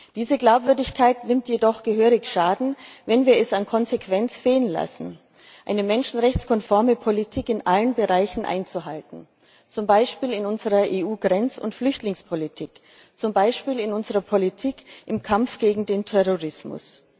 Diese Glaubwürdigkeit nimmt jedoch gehörig Schaden, wenn wir es an Konsequenz fehlen lassen, eine menschenrechtskonforme Politik in allen Bereichen einzuhalten, zum Beispiel in unserer EU Grenz und Flüchtlingspolitik, zum Beispiel in unserer Politik im Kampf gegen den Terrorismus.